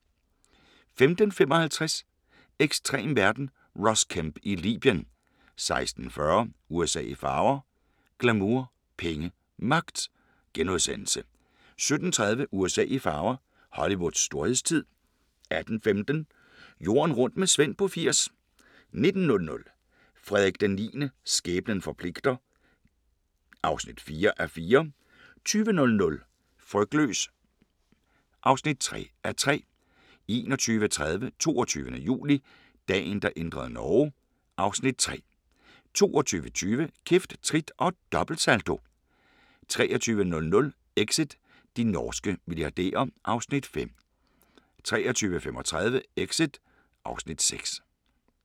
15:55: Ekstrem verden – Ross Kemp i Libyen 16:40: USA i farver – glamour, penge og magt * 17:30: USA i farver – Hollywoods storhedstid 18:15: Jorden rundt med Svend på 80 19:00: Frederik IX – skæbnen forpligter (4:4) 20:00: Frygtløs (3:3) 21:30: 22. juli – Dagen der ændrede Norge (Afs. 3) 22:20: Kæft, trit og dobbeltsalto 23:00: Exit – de norske milliardærer (Afs. 5) 23:35: Exit (Afs. 6)